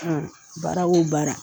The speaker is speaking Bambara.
baara o baara